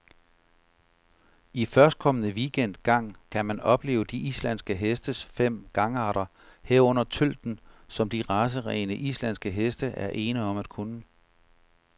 I førstkommende weekend gang kan man opleve de islandske hestes fem gangarter, herunder tølten, som de racerene, islandske heste er ene om at kunne.